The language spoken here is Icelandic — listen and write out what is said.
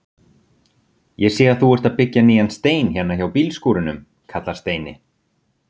Ég sé að þú ert að byggja nýjan hérna hjá bílskúrunum! kallar Steini.